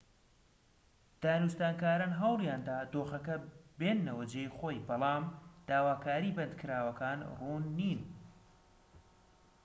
دانوستانکاران هەوڵیاندا دۆخەکە بێننەوە جێی خۆی بەڵام داواکاریی بەندکراوەکان ڕوون نین